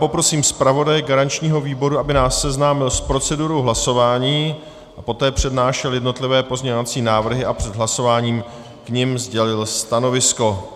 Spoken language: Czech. Poprosím zpravodaje garančního výboru, aby nás seznámil s procedurou hlasování a poté přednášel jednotlivé pozměňovací návrhy a před hlasováním k nim sdělil stanovisko.